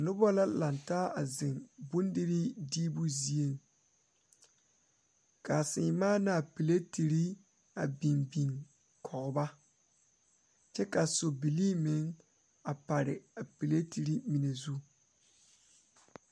Noba la lantaa ka bondire a kabɔɔti poɔ ka talaare be a be poɔ kaa kodo vaare meŋ be a be kaa bie kaŋa a peleetiire mine zu.